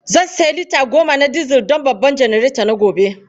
Zan sayi lita goma na dizal don babban janareta na gobe.